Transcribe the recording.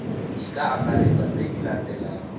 di akaretsa tse di latelang